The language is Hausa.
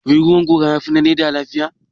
Wai ruwan gora ya fi na leather lafiya?